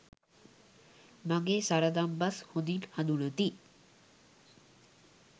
මගේ සරදම් බස් හොඳින් හඳුනති.